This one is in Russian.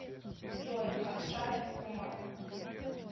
джой акшаев умар